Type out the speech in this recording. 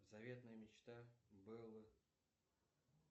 заветная мечта бэллы